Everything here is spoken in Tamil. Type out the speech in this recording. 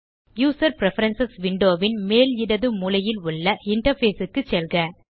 யூசர் பிரெஃபரன்ஸ் விண்டோ ன் மேல் இடது மூலையில் உள்ள இன்டர்ஃபேஸ் க்கு செல்க